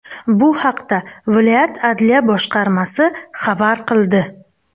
Bu haqda viloyat adliya boshqarmasi xabar qildi .